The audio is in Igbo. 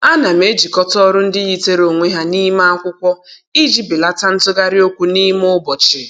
Ana m ejikọta ọrụ ndị yitere onwe ha n'ime akwụkwọ iji belata ntụgharị okwu n'ime ụbọchị.